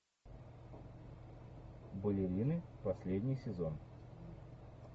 балерины последний сезон